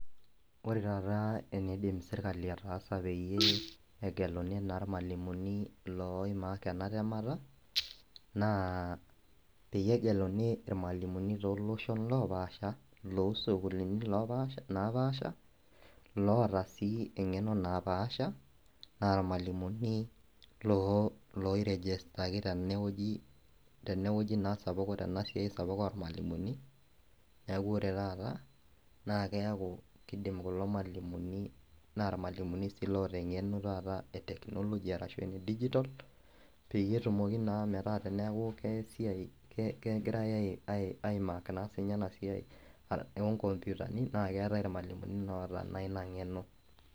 Ore taata eneidim serkali ataasa peyie egeluni na irmalimulini loimarj enatemata na peyie egeluni irmalimulini toloshon opaasha losukulini napaasha loota si engeno napaasha ,na irmalimulini loi registaki tenewueji tenewueji na sapuk ormalimui neaku ore taata keaku kidim kulo malimuni na irmalimulini oota engeno taata e technology ashu digital peyie etumoki na metaa kesiai aimark na enasia onkomputani na keetae irmalimulini oota na inang'eno.